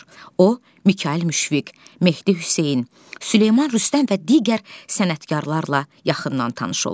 O Mikayıl Müşfiq, Mehdi Hüseyn, Süleyman Rüstəm və digər sənətkarlarla yaxından tanış olur.